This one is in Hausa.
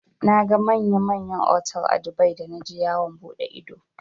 Naga manya manyan otal a Dubai da naje yawon buɗe ido.